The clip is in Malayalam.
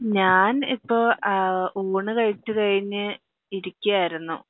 ഞാൻ ഇപ്പൊ ഊണ് കഴിച്ചു കഴിഞ്ഞു ഇരിക്കാർന്നു